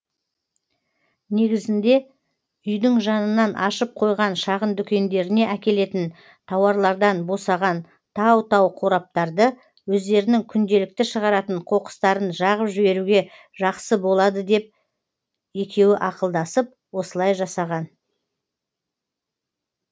негізінде үйдің жанынан ашып қойған шағын дүкендеріне әкелетін тауарлардан босаған тау тау қораптарды өздерінің күнделікті шығаратын қоқыстарын жағып жіберуге жақсы болады деп екеуі ақылдасып осылай жасаған